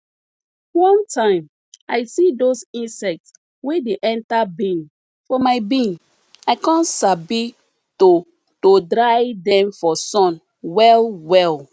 one time i see those insects wey dey enter bean for my bean i come sabi to to dry dem for sun well well